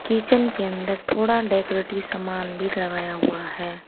Kitchen के अंदर थोड़ा डेकोरेटिव सामान भी लगाया हुआ है।